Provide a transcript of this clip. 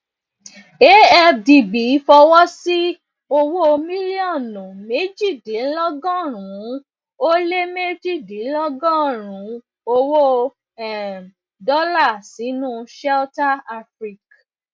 afdb fọwọ sí owó mílíọnù méjìdínlọgọrùnún ó lé méjìdínlọgọrùnún owó um dọlà sinu shelter afrique